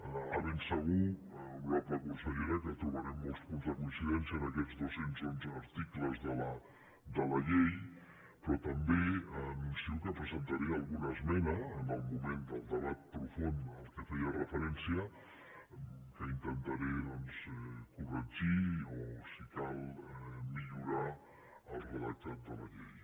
de ben segur honorable consellera que trobarem molts punts de coincidència en aquests dos cents i onze articles de la llei però també anuncio que presentaré alguna esmena en el moment del debat profund a què feia referència que intentaré doncs corregir o si cal millorar el redactat de la llei